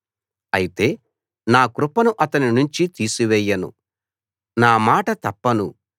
అయితే నా కృపను అతని నుంచి తీసివేయను నామాట తప్పను